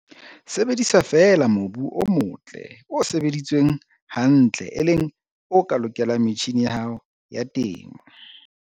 Sebedisa feela mobu o motle, o sebeditsweng hantle, e leng o ka lokelang metjhine ya hao ya temo.